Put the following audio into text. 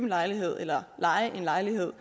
lejlighed eller leje en lejlighed